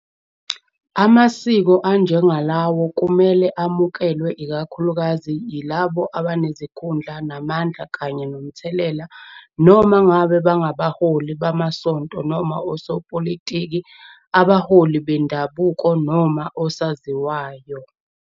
Amasiko anjengalawo kumele amukelwe ikakhulukazi yilabo abanezikhundla namandla kanye nomthelela, noma ngabe bangabaholi bamasonto noma osopolitiki, abaholi bendabuko noma osaziwayo.